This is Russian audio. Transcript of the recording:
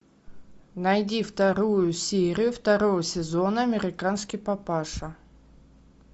найди вторую серию второго сезона американский папаша